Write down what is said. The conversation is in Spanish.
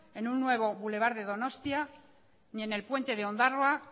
en un nuevo boulevard de donostia ni en el puente de ondarroa